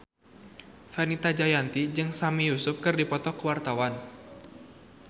Fenita Jayanti jeung Sami Yusuf keur dipoto ku wartawan